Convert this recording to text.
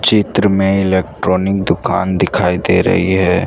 चित्र में इलेक्ट्रॉनिक दुकान दिखाई दे रही है।